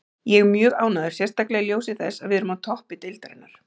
Ég er mjög ánægður, sérstaklega í ljósi þess að við erum á toppi deildarinnar.